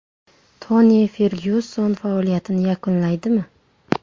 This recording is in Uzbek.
Toni Fergyuson faoliyatini yakunlaydimi?